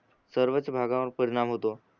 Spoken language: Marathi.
सर्वच भागावर परीणाम होतो